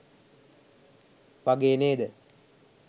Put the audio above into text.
වගේ නේද?